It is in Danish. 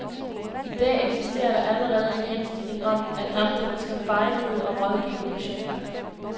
I dag eksisterer der allerede en henstilling om, at amterne skal vejlede og rådgive patienter.